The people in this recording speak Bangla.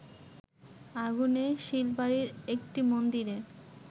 আগুনে শীলবাড়ির একটি মন্দিরে